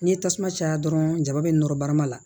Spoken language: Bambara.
N'i ye tasuma caya dɔrɔn jaba bɛ nɔrɔ barama la